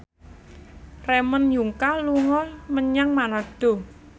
Ramon Yungka dolan menyang Manado